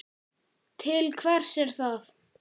Til hvers er það?